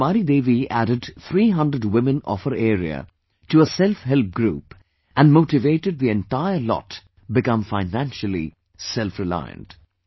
Rajkumari Deviadded 300 women of her area to a 'Self Help Group' and motivated the entire lot become financially selfreliant